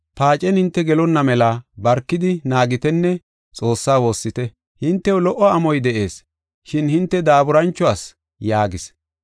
Paacen hinte gelonna mela barkidi naagitenne Xoossaa woossite. Hintew lo77o amoy de7ees, shin hinte daaburancho asi” yaagis.